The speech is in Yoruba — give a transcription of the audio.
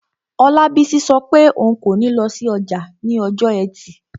Olabisi sọ pé òun kò ní lọ sí ọjà ní ọjọ́ ẹtì